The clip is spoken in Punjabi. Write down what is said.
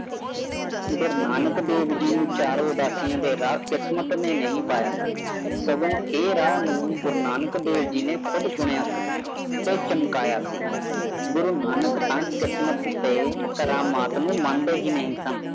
ਗੁਰੂ ਨਾਨਕ ਦੇਵ ਜੀ ਨੂ ਚੇਰਾ ਉਦਾਸੀਆਂ ਦੀ ਰਹੀ ਕਿਸਮਤ ਨੇ ਨਹੀ ਪਾਇਆ ਸੋਗੁਉ ਇਹ ਰਸਤਾ ਨੂੰ ਗੁਰੂ ਨਾਨਕ ਦੇਵ ਜੀ ਨੇ ਖੁਦ ਨੂੰ ਚੁਣਿਆ ਸੀ ਤੇ ਚਮਕਾਇਆ ਸੀ ਗੁਰੂ ਨਾਨਕ ਕਿਸਮਤ ਤੇ ਕਰਾਮਾਤ ਨੂੰ ਮੰਦੇ ਹੀ ਨਹੀਂ ਸਨ